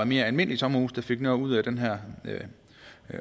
mere almindelige sommerhuse der fik noget ud af den her